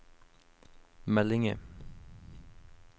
meldinger